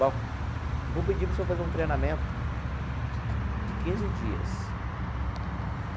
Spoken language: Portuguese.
Bom, eu vou pedir para o senhor fazer um treinamento de quinze dias.